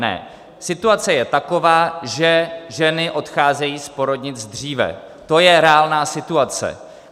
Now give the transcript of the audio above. Ne, situace je taková, že ženy odcházejí z porodnic dříve, to je reálná situace.